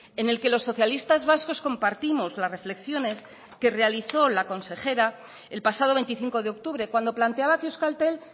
en el que los socialistas vascos compartimos las reflexiones que realizó la consejera el pasado veinticinco de octubre cuando planteaba que euskaltel